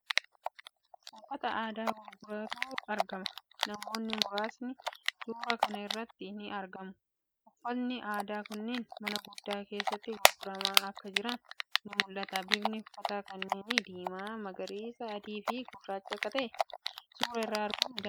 Uffata aadaa garagaraatu argama. Namoonni muraasnis suuraa kana irratti ni argamu. Uffatni aadaa kunniin mana guddaa keessatti gurguramaa akka jiran ni mul'ata. Bifni uffata kanneenii diimaa, magariisa, adii fii gurracha akka ta'e suuraa irraa arguun ni danda'ama.